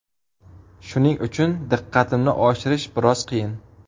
Shuning uchun diqqatimni oshirish biroz qiyin.